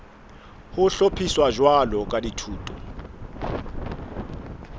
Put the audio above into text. ho hlophiswa jwalo ka dithuto